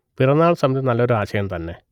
പിറന്നാൾ സമിതി നല്ലൊരു ആശയം തന്നെ